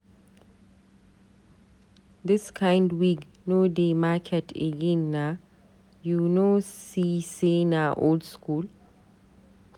Dis kind wig no dey market again naa, you no see say na old skool?